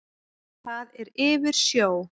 Það er yfir sjó.